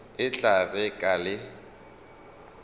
e tla re ka le